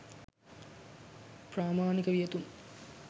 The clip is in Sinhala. ප්‍රාමාණික වියතුන්,